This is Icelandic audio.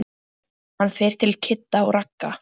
Hann fer til Kidda og Ragga.